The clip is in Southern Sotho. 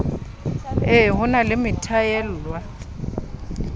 e ho na le methwaela